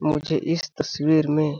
मुझे इस तस्वीर में --.